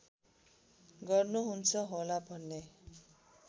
गर्नुहुन्छ होला भन्ने